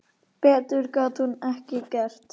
Betur gat hún ekki gert.